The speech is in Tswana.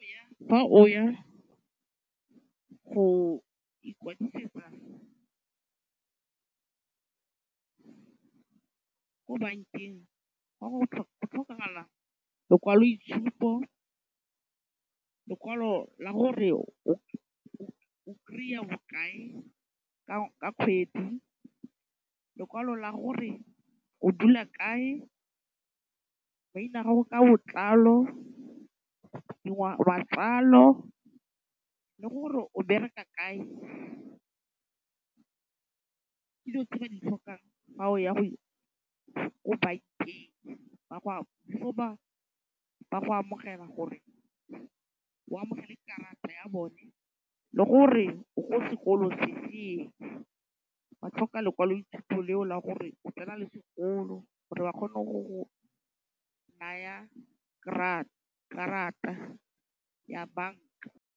Fa o ya go ikwadisetsa ko bankeng go tlhokagala lekwaloitshupo, lekwalo la gore o kry-a bokae ka kgwedi, lekwalo la gore o dula kae, maina a gago ka botlalo, matsalo le gore o bereka kae. tse ba di tlhokang fa o ya go ko bankeng, before ba go amogela gore o amogele karata ya bone le gore o ko sekolong se feng, ba tlhoka lekwalo dithuto leo la gore o tsena le sekolo gore ba kgone go go naya karata ya banka.